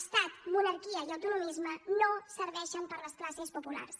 estat monarquia i autonomisme no serveixen per a les classes populars